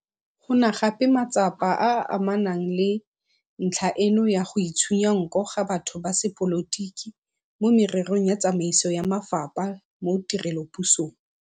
Go na gape le matsapa a a amanang le ntlha eno ya go itshunya nko ga batho ba sepolotiki mo mererong ya tsamaiso ya mafapha mo tirelopusong.